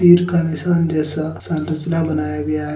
तीर का निशान जैसा संरचना बनाया गया है।